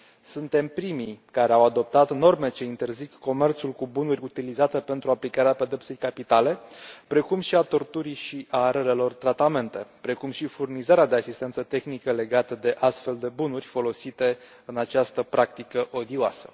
Suntem primii care au adoptat norme ce interzic comerțul cu bunuri utilizate pentru aplicarea pedepsei capitale, precum și a torturii și a relelor tratamente, precum și furnizarea de asistență tehnică legată de astfel de bunuri folosite în această practică odioasă.